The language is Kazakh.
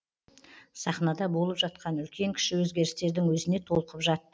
сахнада болып жатқан үлкен кіші өзгерістердің өзіне толқып жатты